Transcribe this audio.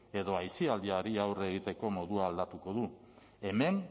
edo aisialdiari aurre egiteko modua aldatuko du hemen